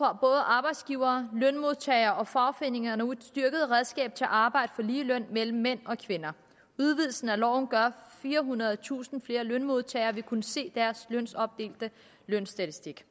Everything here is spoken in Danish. arbejdsgivere lønmodtagere og fagforeninger nu et styrket redskab til at arbejde for lige løn mellem mænd og kvinder udvidelsen af loven gør at firehundredetusind flere lønmodtagere vil kunne se deres kønsopdelte lønstatistik